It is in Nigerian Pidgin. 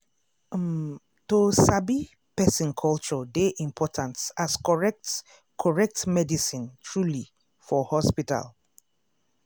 um to sabi person culture dey important as correct correct medicine truely for hospital.